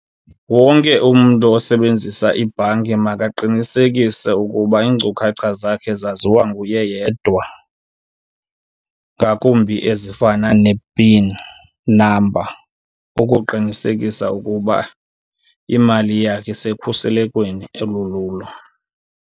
Wonke umntu osebenzisa ibhanki makaqinisekise ukuba iinkcukhacha zakhe zaziwa nguye yedwa ngakumbi ezifana ne-pin number, ukuqinisekisa ukuba imali yakhe isekhuselekweni elululo.